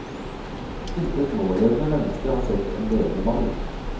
Intet nålevende menneske har sett en levende mammut.